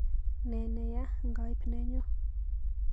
Ne neyaa ngaip nenyuu.